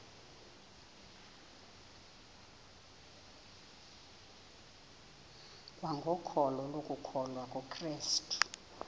kwangokholo lokukholwa kukrestu